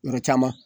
Yɔrɔ caman